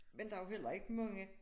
Men der jo heller ikke mange